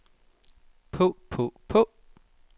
på på på